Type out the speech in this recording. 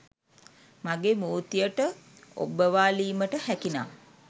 මගේ මූර්තියට ඔබ්බවාලීමට හැකිනම්